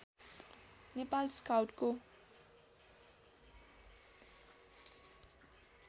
Nepal स्काउटको